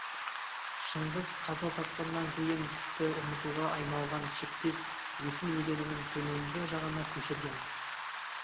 шыңғыс қаза тапқаннан кейін тіпті ұмытуға айналған шектес есіл өзенінің төменгі жағына көшірген